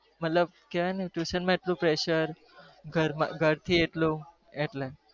મતલબ કેવાય કે ઘર નું એટલું prpeser